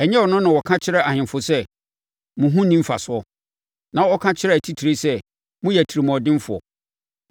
Ɛnyɛ Ɔno na ɔka kyerɛ ahemfo sɛ, ‘Mo ho nni mfasoɔ,’ na ɔka kyerɛɛ atitire sɛ, ‘Moyɛ atirimuɔdenfoɔ’?